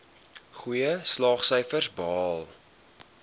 goeie slaagsyfers behaal